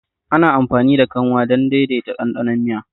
Ana amfani da kanwa don daidaita ɗanɗanon miya.